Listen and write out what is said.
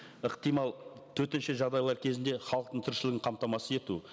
ықтимал төтенше жағдайлар кезінде халықтың тіршілігін қамтамасыз ету